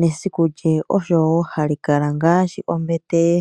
nesiku lye oshowo hashi kala ngaashi ombete ye.